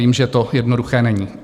Vím, že to jednoduché není.